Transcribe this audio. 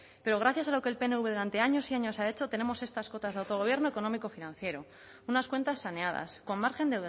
pero gracias a lo que el pnv durante años y años ha hecho tenemos estas cotas de autogobierno económico financiero unas cuentas saneadas con margen